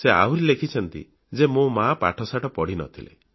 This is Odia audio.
ସେ ଆହୁରି ଲେଖିଛନ୍ତି ଯେ ମୋ ମା ପାଠଶାଠ ପଢ଼ିନଥିଲେ